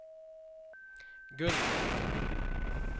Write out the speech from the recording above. Gunborg